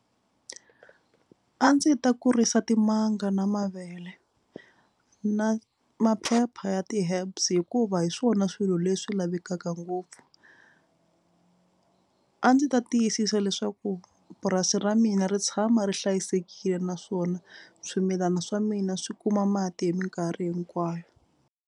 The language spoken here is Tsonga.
A ndzi ta kurisa timanga na mavele na maphepha ya ti-herbs hikuva hi swona swilo leswi lavekaka ngopfu. A ndzi ta tiyisisa leswaku purasi ra mina ri tshama ri hlayisekile naswona swimilana swa mina swi kuma mati hi mikarhi hinkwayo.